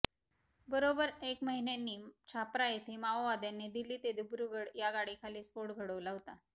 बरोबर एक महिन्यापूर्वी छाप्रा येथे माओवाद्यांनी दिल्ली ते दिब्रुगढ या गाडीखाली स्फोट घडवला होता